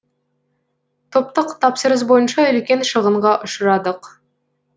топтық тапсырыс бойынша үлкен шығынға ұшырадық